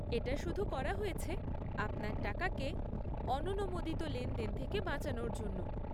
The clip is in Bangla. এটা শুধু করা হয়েছে আপনার টাকাকে অননুমোদিত লেনদেন থেকে বাঁচানোর জন্য।